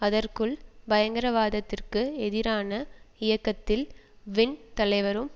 அதற்குள் பயங்கரவாதத்திற்கு எதிரான இயக்கத்தில் வின் தலைவரும்